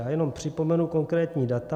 Já jenom připomenu konkrétní data.